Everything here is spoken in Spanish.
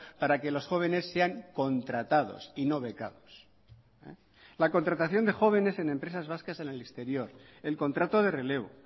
para que los jóvenes sean contratados y no becados la contratación de jóvenes en empresas vascas en el exterior el contrato de relevo